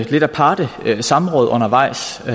lidt aparte samråd undervejs i